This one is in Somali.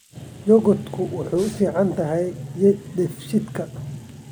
Yogurtu waxay u fiican tahay dheefshiidka.